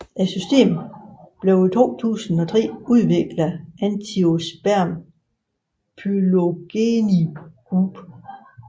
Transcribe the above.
Systemet blev i 2003 udviklet af Angiosperm Phylogeny Group